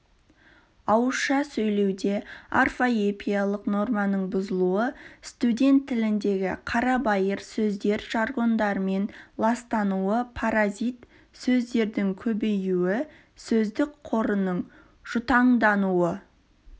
ауызша сөйлеуде орфоэпиялық норманың бұзылуы студент тіліндегі қарабайыр сөздер жаргондармен ластануы паразит-сөздердің көбеюі сөздік қорының жұтаңдануы